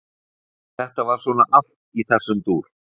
Þetta var svona allt í þessum dúr.